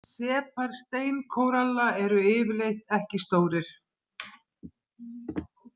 Separ steinkóralla eru yfirleitt ekki stórir.